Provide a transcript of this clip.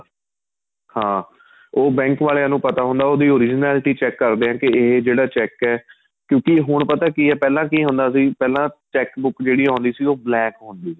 ਹਾਂ ਉਹ bank ਵਾਲਿਆਂ ਨੂੰ ਪਤਾ ਹੁੰਦਾ ਉਹਦੀ originality check ਕਰਦੇ ਏ ਕੀ ਏ ਜਿਹੜਾ cheque ਏ ਕਿਉਂਕਿ ਹੁਣ ਪਤਾ ਕੀ ਏ ਪਹਿਲਾਂ ਕੀ ਹੁੰਦਾ ਸੀ ਪਹਿਲਾਂ cheque book ਜਿਹੜੀ ਆਉਦੀ ਸੀ ਉਹ blank ਹੁੰਦੀ ਸੀ